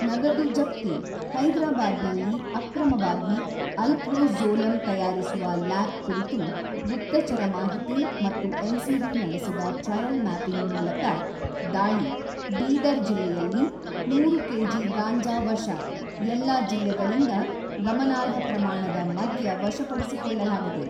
ನಗದು ಜಪ್ತಿ, ಹೈದರಾಬಾದ್ನಲ್ಲಿ ಅಕ್ರಮವಾಗಿ ಅಲ್ಪ್ರೋಝೋಲಮ್ ತಯಾರಿಸುವ ಲ್ಯಾಬ್ ಕುರಿತು ಗುಪ್ತಚರ ಮಾಹಿತಿ ಮತ್ತು ಎನ್ಸಿಬಿ ನಡೆಸಿದ ಟ್ರಯಲ್ ಮ್ಯಾಪಿಂಗ್ ಮೂಲಕ ದಾಳಿ ಬೀದರ್ ಜಿಲ್ಲೆಯಲ್ಲಿ ನೂರು ಕೆಜಿ ಗಾಂಜಾ ವಶ ಎಲ್ಲಾ ಜಿಲ್ಲೆಗಳಿಂದ ಗಮನಾರ್ಹ ಪ್ರಮಾಣದ ಮದ್ಯ ವಶಪಡಿಸಿಕೊಳ್ಳಲಾಗಿದೆ.